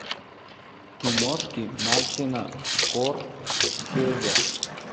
киношки мартина скорсезе